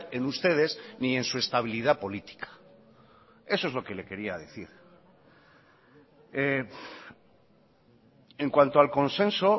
en ustedes ni en su estabilidad política eso es lo que le quería decir en cuanto al consenso